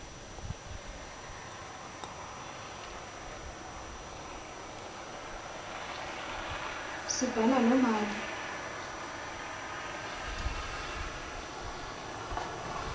sibale loo mali